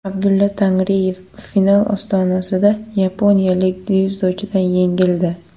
Abdulla Tangriyev final ostonasida yaponiyalik dzyudochidan yengildi.